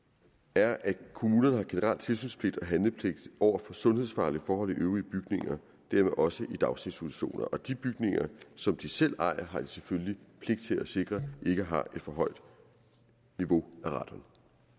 er at kommunerne har generel tilsynspligt og handlepligt over for sundhedsfarlige forhold i øvrige bygninger og dermed også i daginstitutioner og de bygninger som de selv ejer har de selvfølgelig pligt til at sikre ikke har et for højt niveau af radon